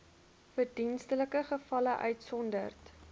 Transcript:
verdienstelike gevalle uitgesonderd